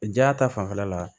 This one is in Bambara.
Ja ta fanfɛla la